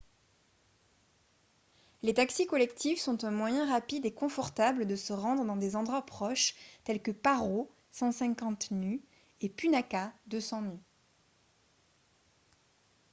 les taxis collectifs sont un moyen rapide et confortable de se rendre dans des endroits proches tels que paro 150 nu et punakha 200 nu